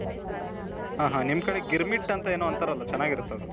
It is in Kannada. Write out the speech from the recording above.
ಹಾ ಹಾ ನಿಮ್ ಕಡೆ ಗಿರ್ಮಿಟ ಅಂತ ಏನೋ ಅಂತರಲ ಚೆನಾಗಿರುತ್ತದು.